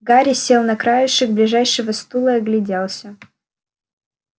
гарри сел на краешек ближайшего стула и огляделся